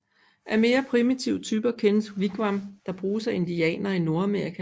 Af mere primitive typer kendes wigwam der bruges af indianere i Nordamerika